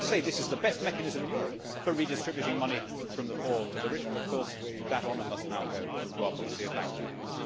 I would say this is the best mechanism in Europe for redistributing money from the poor to the rich, but of course that honour must now go to our policy of bank bail outs.